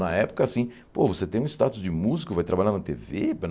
Na época, assim, pô você tem o status de músico, vai trabalhar na Tê Vê?